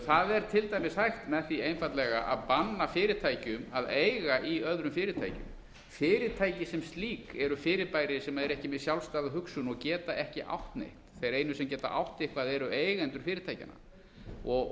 það er til dæmis hægt með því einfaldlega að banna fyrirtækjum að eiga í öðrum fyrirtækjum fyrirtæki sem slík eru fyrirbæri sem eru ekki með sjálfstæða hugsun og geta ekki átt neitt þeir einu sem geta átt eitthvað eru eigendur fyrirtækjanna